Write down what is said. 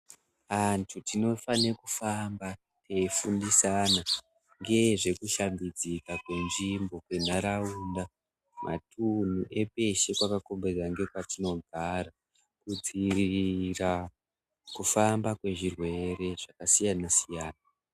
Antu tinofane kufamba teifundisana ngezvekushambidzika kwenzvimbo kwentaraunda, matunhu epeshe pakakomberedzwa ngekwetinogara kudziirira kufamba kwezvirwere zvakasiyana-siyana.